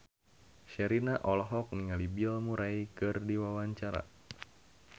Sherina olohok ningali Bill Murray keur diwawancara